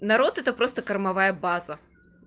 народ это просто кормовая база